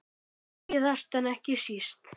Síðast en ekki síst.